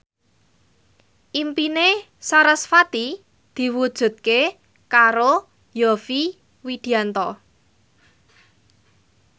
impine sarasvati diwujudke karo Yovie Widianto